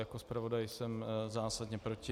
Jako zpravodaj jsem zásadně proti.